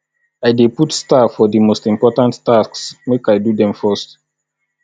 i dey put star for di most important tasks make i do dem first